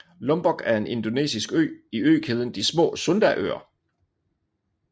Lombok er en indonesisk ø i økæden de små Sundaøer